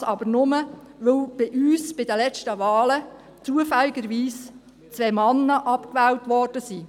Dies aber nur, weil bei uns bei den letzten Wahlen zufällig zwei Männer abgewählt wurden.